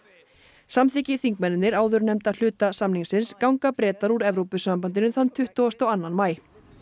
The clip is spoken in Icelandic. samþykki þingmennirnir áðurnefnda hluta samningsins ganga Bretar úr Evrópusambandinu þann tuttugasta og annan maí